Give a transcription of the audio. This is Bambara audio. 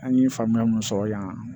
An ye faamuya mun sɔrɔ yan